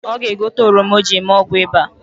Ọ ga-egote oroma o ji eme ọgwụ ịba